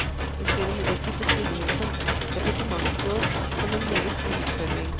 Jeg ser imidlertid på stillingen som departementsråd som en meget stor utfordring.